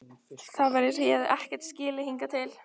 Það var eins og ég hefði ekkert skilið hingað til.